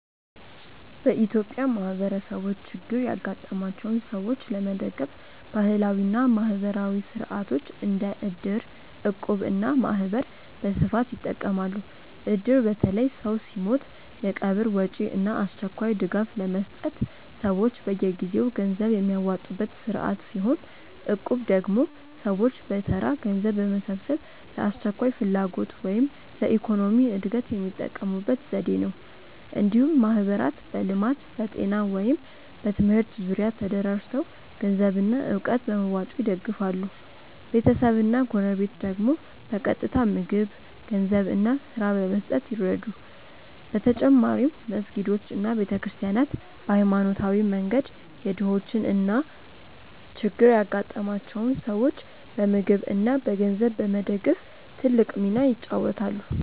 በኢትዮጵያ ማህበረሰቦች ችግር ያጋጠማቸውን ሰዎች ለመደገፍ ባህላዊ እና ማህበራዊ ሥርዓቶች እንደ እድር፣ እቁብ እና ማህበር በስፋት ይጠቀማሉ። እድር በተለይ ሰው ሲሞት የቀብር ወጪ እና አስቸኳይ ድጋፍ ለመስጠት ሰዎች በየጊዜው ገንዘብ የሚያዋጡበት ስርዓት ሲሆን፣ እቁብ ደግሞ ሰዎች በተራ ገንዘብ በመሰብሰብ ለአስቸኳይ ፍላጎት ወይም ለኢኮኖሚ እድገት የሚጠቀሙበት ዘዴ ነው። እንዲሁም ማህበራት በልማት፣ በጤና ወይም በትምህርት ዙሪያ ተደራጅተው ገንዘብና እውቀት በመዋጮ ይደግፋሉ፤ ቤተሰብና ጎረቤት ደግሞ በቀጥታ ምግብ፣ ገንዘብ እና ስራ በመስጠት ይረዱ። በተጨማሪም መስጊዶች እና ቤተ ክርስቲያናት በሃይማኖታዊ መንገድ የድሆችን እና ችግር ያጋጠማቸውን ሰዎች በምግብ እና በገንዘብ በመደገፍ ትልቅ ሚና ይጫወታሉ።